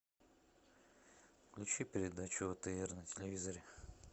включи передачу отр на телевизоре